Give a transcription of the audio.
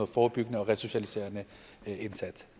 forebyggende og resocialiserende indsats